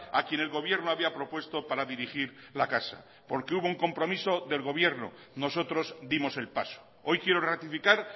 a quien el gobierno había propuesto para dirigir la casa porque hubo un compromiso del gobierno nosotros dimos el paso hoy quiero ratificar